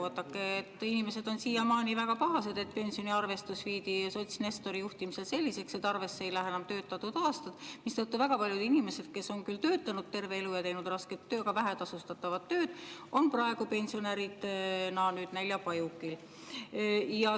Vaadake, inimesed on siiamaani väga pahased, et pensioniarvestus tehti sots Nestori juhtimisel selliseks, et arvesse ei lähe enam töötatud aastad, mistõttu väga paljud inimesed, kes on küll töötanud terve elu, teinud rasket, aga vähetasustatud tööd, on praegu pensionäridena näljapajukil.